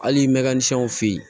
Hali mɛ siɛn fe yen